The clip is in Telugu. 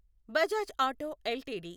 Bajaj Auto LTD